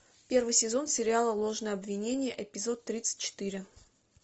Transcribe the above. первый сезон сериала ложное обвинение эпизод тридцать четыре